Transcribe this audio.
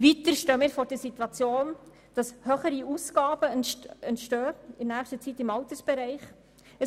Weiter stehen in der nächsten Zeit höhere Ausgaben im Altersbereich an.